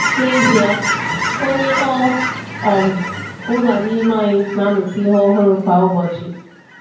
N'ezie, onye ọ um bụla n’ime anyị na-amụta ihe ọhụrụ kwa ụbọchị.